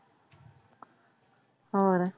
ਹੋਰ